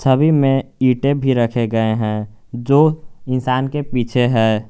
छवि में ईंटे भी रखे गए हैं जो इंसान के पीछे है।